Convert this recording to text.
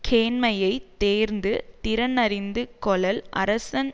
கேண்மையை தேர்ந்து திறன் அறிந்து கொளல் அரசன்